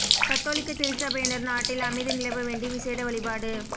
கத்தோலிக்கத் திருச்சபையினர் நாட்டில் அமைதி நிலவ வேண்டி விசேட வழிபாடு